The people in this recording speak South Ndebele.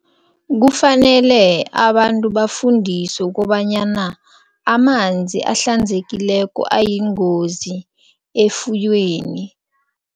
Kufanele abantu bafundiswe ukobanyana amanzi ahlanzekileko ayingozi efuyweni.